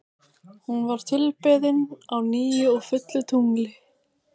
Hún var tilbeðin á nýju og fullu tungli.